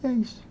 E é isso.